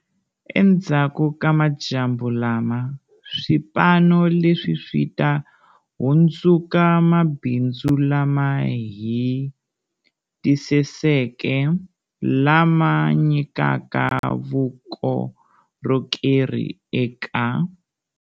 Endzhaku ka madyambu lama, swipano leswi swi ta hundzuka mabindzu lama hetiseseke lama nyikaka vukorhokeri eka.